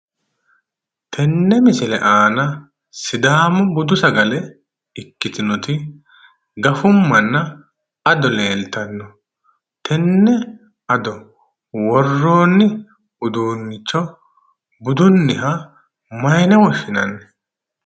Tenne misile aana sidaamu budu sagale ikkitinoti gafummanna ado leeltanno, tenne ado worroonni uduunnicho budunniha mayiine woshshinanni?